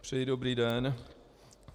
Přeji dobrý den.